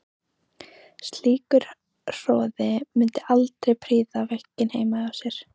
Slíkur hroði mundi aldrei prýða veggina heima hjá mér.